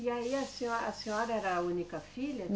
E aí a senhora, a senhora era a única filha?